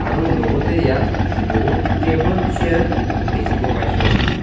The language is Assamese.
আৰু লগতে ইয়াত বহুত টেবুল চেয়াৰ দেখিব পাইছোঁ আমি.